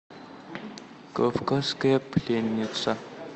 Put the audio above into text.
кавказская пленница